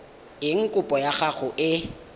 eng kopo ya gago e